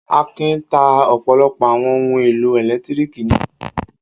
Akin ta ọ̀pọ̀lọpọ̀ àwọn ohun-èlò ẹ̀lẹ́tíríkì ní ṣọ́ọ́bù rẹ̀?